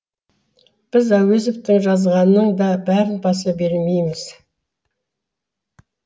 біз әуезовтың жазғанының да бәрін баса бермейміз